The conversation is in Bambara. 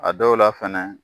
A dɔw la fɛnɛ